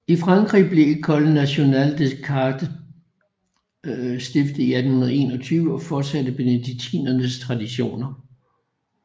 I Frankrig blev École nationale des chartes stiftet i 1821 og fortsatte benediktinernes traditioner